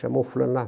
Chamou o fulano lá.